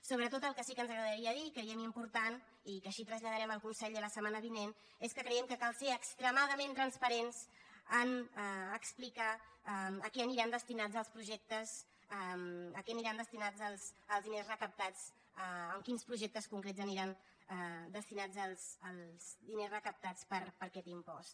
sobretot el que sí que ens agradaria dir i creiem important i que així traslladarem al conseller la setmana vinent és que creiem que cal ser extremadament transparents en explicar a què aniran destinats els projectes a què aniran destinats els diners recaptats a quins projectes concrets aniran destinats els diners recaptats per aquest impost